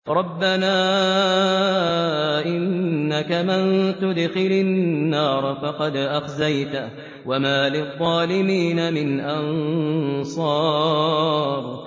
رَبَّنَا إِنَّكَ مَن تُدْخِلِ النَّارَ فَقَدْ أَخْزَيْتَهُ ۖ وَمَا لِلظَّالِمِينَ مِنْ أَنصَارٍ